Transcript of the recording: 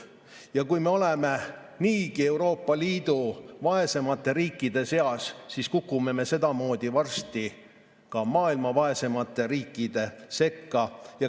Ja kui me oleme niigi Euroopa Liidu vaeseimate riikide seas, siis kukume me sedamoodi varsti ka maailma vaeseimate riikide sekka.